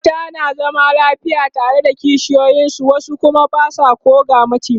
mata na zama lafiya tare da kishiyoyin su wasu Kuma Basu koh ga maciji